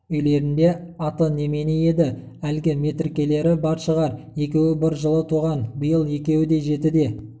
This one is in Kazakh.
үйлерінде аты немене еді әлгі метіркелері бар шығар екеуі бір жылы туған биыл екеуі де жетіде